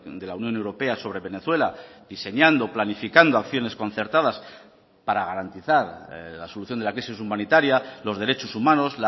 de la unión europea sobre venezuela diseñando planificando acciones concertadas para garantizar la solución de la crisis humanitaria los derechos humanos